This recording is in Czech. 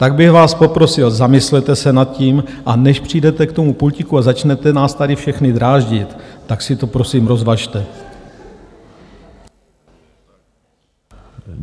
Tak bych vás poprosil zamyslete se nad tím a než přijdete k tomu pultíku a začnete nás tady všechny dráždit, tak si to, prosím, rozvažte.